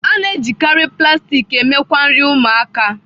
A na-ejikarị plastik eme ngwa nri ụmụaka.